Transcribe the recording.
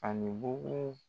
Ani bugu